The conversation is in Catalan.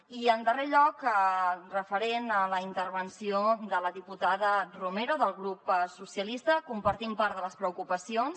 i en darrer lloc referent a la intervenció de la diputada romero del grup socialistes compartim part de les preocupacions